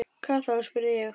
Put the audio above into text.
Hvað þá? spurði ég.